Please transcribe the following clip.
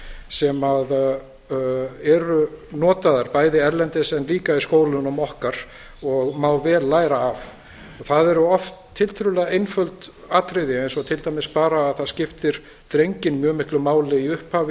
sem eru notaðar bæði erlendis en líka í skólunum okkar og má vel læra af það eru oft tiltölulega einföld atriði eins og til dæmis bara að það skiptir drenginn mjög miklu máli í upphafi